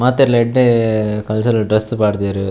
ಮಾತೆರ್ಲ ಎಡ್ಡೆ cultural dress ಪಾಡ್ದೆರ್.